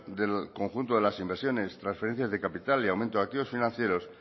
del conjunto de las inversiones transferencias de capital y aumento de activos financieros